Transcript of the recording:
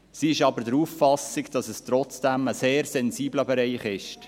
Sie ist aber der Auffassung, dass es trotzdem ein sehr sensibler Bereich ist.